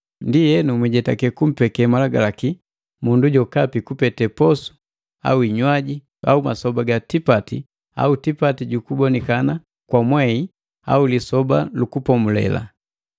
Ndienu mwijetake kumpeke malagalaki na mundu jokapi kupete posu au hinywaji, masoba ga tipati au tipati jukubonikana kwa mwehi au Lisoba lu Kupomulela.